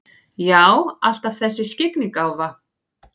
Já, alltaf þessi skyggnigáfa.